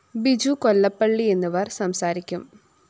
ബിജു കൊല്ലപ്പള്ളി എന്നിവര്‍ സംസാരിക്കും